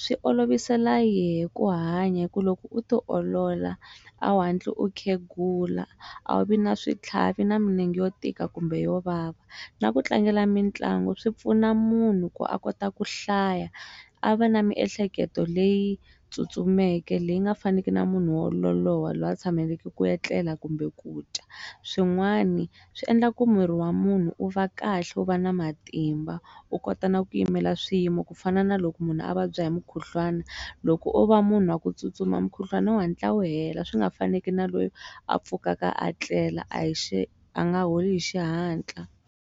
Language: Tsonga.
swi olovisela yehe ku hanya hi ku loko u ti olola a wu hantli u khegula a wu vi na switlhavi na milenge yo tika kumbe yo vava na ku tlangela mitlangu swi pfuna munhu ko a kota ku hlaya a va na miehleketo leyi tsutsumeke leyi nga faneke na munhu wololowa loyi a tshamelaka ku etlela kumbe kudya swin'wani swi endla ku miri wa munhu u va kahle u va na matimba u kota na ku yimela swiyimo ku fana na loko munhu a vabya hi mukhuhlwana loko o va munhu wa ku tsutsuma mukhuhlwana u hatla wu hela swi nga faneke na loyi a pfukaka a tlela a hi xi a nga holi hi xihatla.